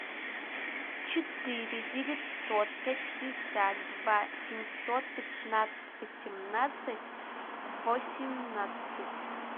четыре девятьсот пятьдесят два семьсот пятнадцать восемнадцать восемнадцать